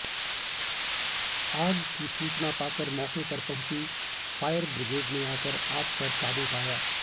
आग की सूचना पाकर मौके पर पहुंची फायर बिग्रेड ने आकर आग पर काबू पाया